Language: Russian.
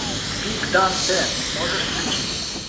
пик данте можешь включить